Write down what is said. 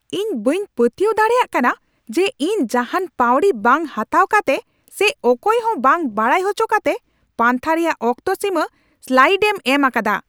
ᱤᱧ ᱵᱟᱹᱧ ᱯᱟᱹᱛᱭᱟᱹᱣ ᱫᱟᱲᱮᱭᱟᱜ ᱠᱟᱱᱟ ᱡᱮ ᱤᱧ ᱡᱟᱦᱟᱱ ᱯᱟᱹᱣᱲᱤ ᱵᱟᱝ ᱦᱟᱛᱟᱣ ᱠᱟᱛᱮ ᱥᱮ ᱚᱠᱚᱭ ᱦᱚᱸ ᱵᱟᱝ ᱵᱟᱲᱟᱭ ᱦᱚᱪᱚ ᱠᱟᱛᱮ ᱯᱟᱱᱛᱷᱟ ᱨᱮᱭᱟᱜ ᱚᱠᱛᱚ ᱥᱤᱢᱟᱹ ᱥᱞᱟᱭᱤᱰᱮᱢ ᱮᱢ ᱟᱠᱟᱫᱟ ᱾